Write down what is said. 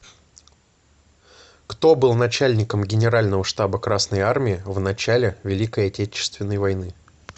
кто был начальником генерального штаба красной армии в начале великой отечественной войны